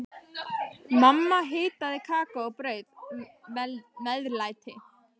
Mamma hitaði kakó og bauð meðlæti.